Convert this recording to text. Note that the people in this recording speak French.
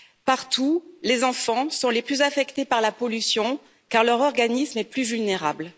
Partout, les enfants sont les plus affectés par la pollution, car leur organisme est plus vulnérable.